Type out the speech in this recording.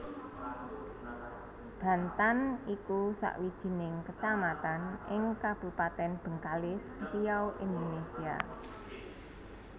Bantan iku sawijining kecamatan ing Kabupatèn Bengkalis Riau Indonesia